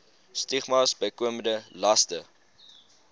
stigmas bykomende laste